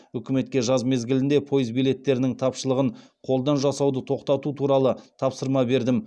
үкіметке жаз мезгілінде пойыз билеттерінің тапшылығын қолдан жасауды тоқтату туралы тапсырма бердім